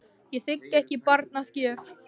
Ég þigg ekki barn að gjöf.